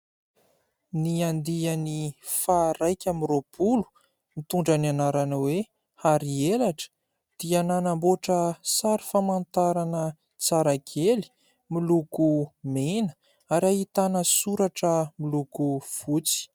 Ny andiany faha iraika amby roapolo mitondra ny anarana hoe :« hary elatra » dia nanamboatra sary famantarana tsara kely miloko mena ary ahitana soratra miloko fotsy.